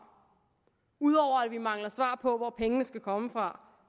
ud over at vi mangler svar på hvor pengene skal komme fra